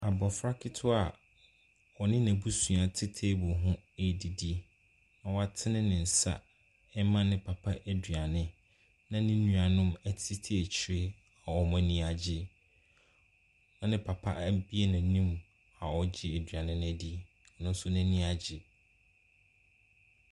Abofra ketewa a ɔne n'abusua te table ho redidi yi. Watene ne nsa rema ne papa aduane. Ne nua na wɔtete akyire yi, Wɔn ani agye. Ne papa abue na no a ɔregye aduane no adi.